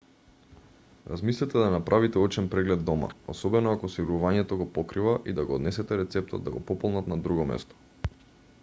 размислете да направите очен преглед дома особено ако осигурувањето го покрива и да го однесете рецептот да го пополнат на друго место